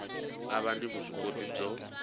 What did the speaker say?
a va ni vuswikoti byo